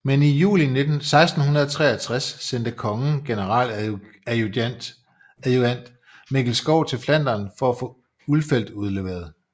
Men i juli 1663 sendte kongen generaladjutant Mikkel Skov til Flandern for at få Ulfeldt udleveret